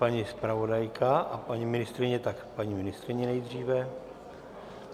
Paní zpravodajka a paní ministryně, tak paní ministryně nejdříve.